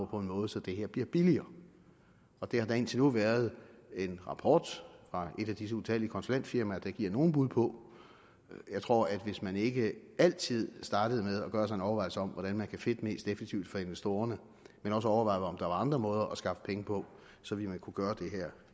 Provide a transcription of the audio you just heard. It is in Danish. på en måde så det her bliver billigere det har der indtil nu været en rapport fra et af disse utallige konsulentfirmaer der giver nogle bud på jeg tror at hvis man ikke altid startede med at gøre sig nogle overvejelser om hvordan man kan fedte mest effektivt for investorerne men også overvejede om der var andre måder at skaffe penge på så ville man kunne gøre det her